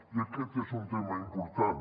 i aquest és un tema important